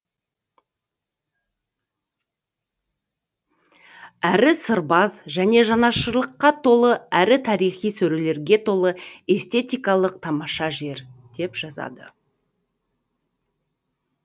әрі сырбаз және жанашырлыққа толы әрі тарихи сөрелерге толы эстетикалық тамаша жер деп жазады